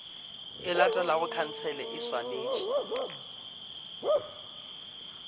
e latelago khansele e swanetše